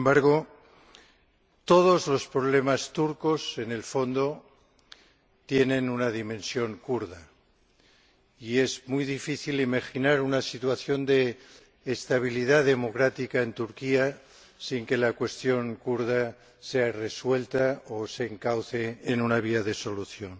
Sin embargo, todos los problemas turcos, en el fondo, tienen una dimensión kurda, y es muy difícil imaginar una situación de estabilidad democrática en Turquía sin que la cuestión kurda sea resuelta o se encauce en una vía de solución.